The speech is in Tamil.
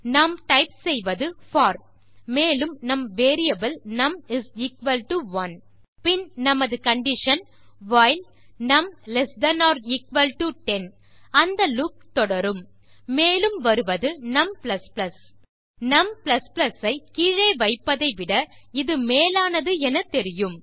நாம் டைப் செய்வது போர் மேலும் நம் வேரியபிள் num1 பின் நமது கண்டிஷன் வைல் நம்ல்ட் 10 அந்த லூப் தொடரும் மேலும் வருவது நும் நும் ஐ கீழே வைப்பதை விட இது மேலானது என தெரியும்